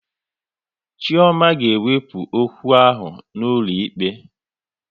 Chioma ga ewepu okwu ahụ n'ụlọ ikpe